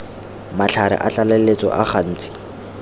matlhare a tlaleletso a gantsi